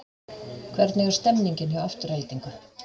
Hvernig er stemningin hjá Aftureldingu?